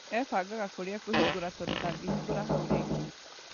Ebangaga kũrĩa ekũhingũra tondu ndangĩhingũra hau rĩngĩ.